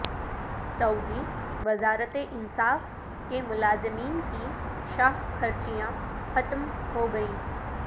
سعودی وزارت انصاف کے ملازمین کی شاہ خرچیاں ختم ہو گئیں